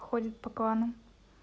ходит по кланам